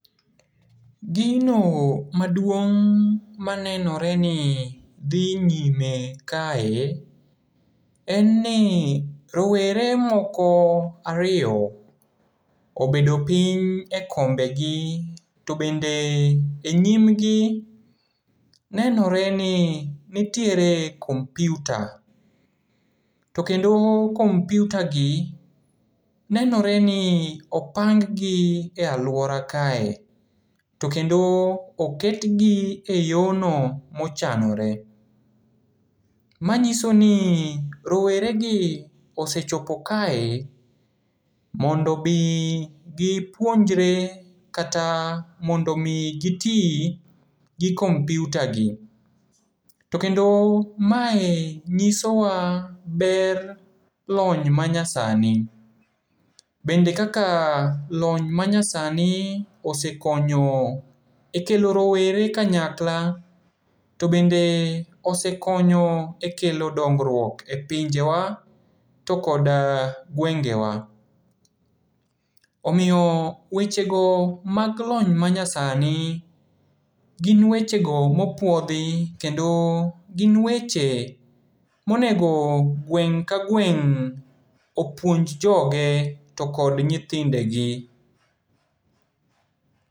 Gino maduong' manenoreni dhi nyime kae, en ni rowere moko ariyo obedo piny e kombegi, to bende e nyimgi nenoreni nitiere kompyuta. To kendo kompyutagi, nenoreni opang gi e aluora kae, to kendo oketgi e yono mochanore. Manyisoni roweregi osechopo kae mondomi gipuonjre, kata mondomi giti gi kompyutagi. To kendo mae nyisowa ber lony manyasani. Bende kaka lony manyasani osekonyo e kelo rowere kanyakla, to bende osekonyo e kelo dongruok e pinjewa, to kod gwengewa. Omiyo wechego mag lony manyasani, gin wechego mopuodhi kendo gin weche monego gweng' ka gweng' opuonj joge tokod nyithindegi.